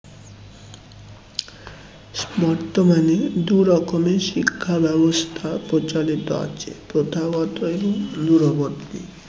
বর্তমানে দু'রকমের শিক্ষা ব্যবস্থা প্রচলত আছে প্রথাগত এবং দূরবর্তী